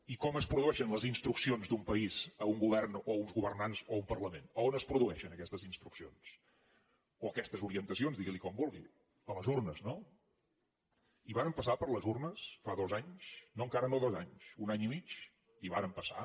i com es produeixen les instruccions d’un país a un govern o a uns governants o a un parlament a on es produeixen aquestes instruccions o aquestes orientacions digui li com vulgui a les urnes no i vàrem passar per les urnes fa dos anys no encara no dos anys un any i mig hi vàrem passar